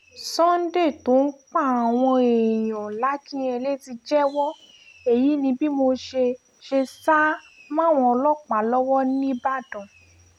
sunday tó ń pàwọn èèyàn làkìnyẹlé ti jẹ́wọ́ èyí ni bí mo ṣe ṣe sá máwọn ọlọ́pàá lọ́wọ́ nìbàdàn